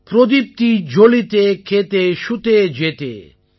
ப்ரோதிப்தீ ஜாலிதே கேதே ஷூதே ஜேதே